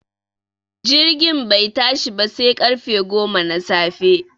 Jirgin bai tashi ba sai ƙarfe goma na safe